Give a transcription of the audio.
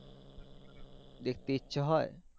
দেখতে ইচ্ছে হয়